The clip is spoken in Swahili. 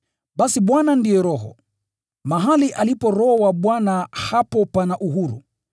Basi Bwana ndiye Roho. Mahali alipo Roho wa Bwana hapo pana uhuru.